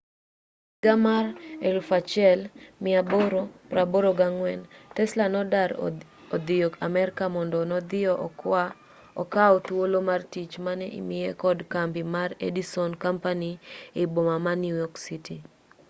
e higa mar 1884 tesla nodar odhiyo amerka mondo nodhiyo okaw thuolo mar tich mane imiye kod kambi mar edison company ei boma ma new york city